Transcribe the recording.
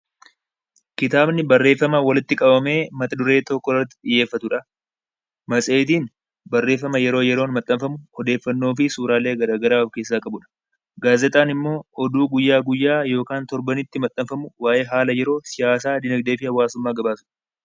Kitaabni barreeffama walitti qabamee mata duree tokko irratti kan xiyyeeffatudha. Matseetiin barreeffama yeroo yeroon maxxanfamu, odeeffannoo fi suuraalee garaa garaa kan of keessaa qabudha. Gaazexaan immoo oduu guyyaa guyyaa yookaan torbanitti maxxanfamu waa'ee haala yeroo, siyaasaa, dinagdee fi hawaasummaa gabaasudha.